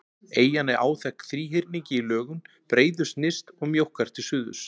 Eyjan er áþekk þríhyrningi í lögun, breiðust nyrst og mjókkar til suðurs.